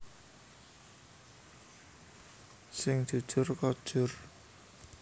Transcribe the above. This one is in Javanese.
Sing jujur kojur